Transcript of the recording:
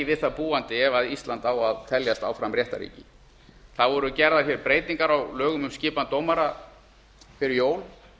við það búandi ef ísland á að teljast áfram réttarríki það voru gerðar hér breytingar á lögum um skipan dómara fyrir jól